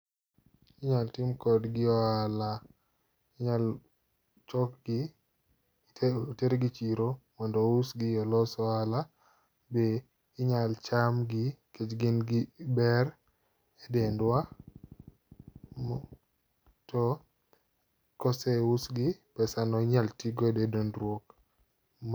Inyal timkodgi ohala, inyal chokgi otergi chiro mondo ousgi olos ohala. Be inyal chamgi nikech gin gi ber e dendwa. To kose usgi, pesa no inyal tigodo e dondruok. Ma.